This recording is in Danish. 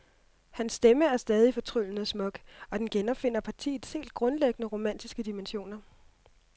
Hans stemme er stadig fortryllende smuk, og den genopfinder partiets helt grundlæggende romantiske dimensioner.